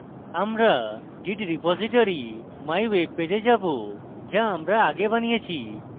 আমরা git repository mywebpage we যাবো যা আমরা আগে বানিয়েছি